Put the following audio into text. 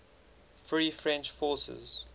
free french forces